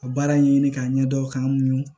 Ka baara ɲini k'a ɲɛdɔn k'an muɲun